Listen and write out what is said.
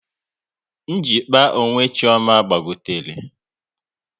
Njikpa onwe Chioma gbagotere